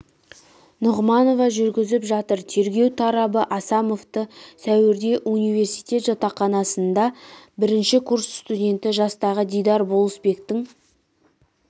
нұғманова жүргізіп жатыр тергеу тарабы асамовты сәуірде университет жатақханасында бірінші курс студенті жастағы дидар болысбектің